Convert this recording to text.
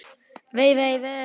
Vei, vei, vei.